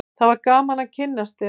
það var gaman að kynnast þér